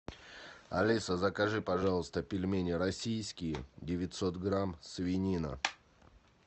алиса закажи пожалуйста пельмени российские девятьсот грамм свинина